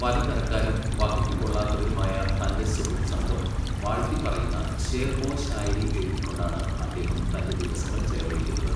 പല തരക്കാരും വകയ്ക്കുകൊള്ളാത്തവരുമായ തൻ്റെ സുഹൃദ് സംഘം വാഴ്ത്തിപ്പറയുന്ന ശേർ ഓ ശായരി എഴുതിക്കൊണ്ടാണ് അദ്ദേഹം തന്റെ ദിവസങ്ങൾ ചെലവഴിക്കുന്നത്.